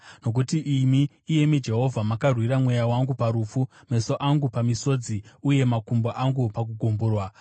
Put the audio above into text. Nokuti imi, iyemi Jehovha, makarwira mweya wangu parufu, meso angu pamisodzi, uye makumbo angu pakugumburwa,